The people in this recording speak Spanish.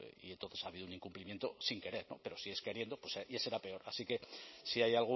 y entonces ha habido un incumplimiento sin querer pero si es queriendo ya será peor así que si hay